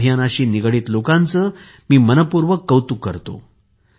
या अभियानाशी निगडित लोकांचे मी मनःपूर्वक कौतुक करतो